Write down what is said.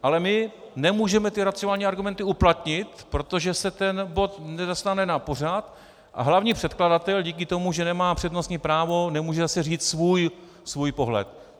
Ale my nemůžeme ty racionální argumenty uplatnit, protože se ten bod nedostane na pořad a hlavní předkladatel díky tomu, že nemá přednostní právo, nemůže zase říct svůj pohled.